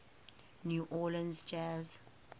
new orleans jazz